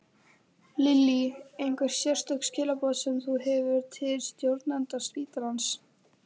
Lillý: Einhver sérstök skilaboð sem þú hefur til stjórnenda spítalans?